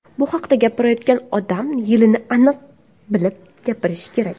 Bu haqda gapirayotgan odam yilini aniq bilib gapirishi kerak.